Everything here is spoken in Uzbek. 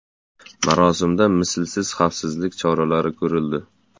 Marosimda mislsiz xavfsizlik choralari ko‘rildi.